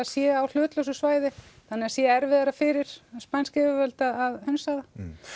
sé á hlutlausu svæði þannig það sé erfiðara fyrir spænsk yfirvöld að hunsa það